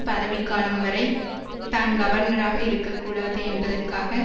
பதவிக் காலம் வரை தான் கவர்னராக இருக்க கூடாது என்பதற்காக